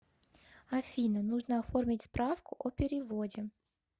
афина нужно оформить справку о переводе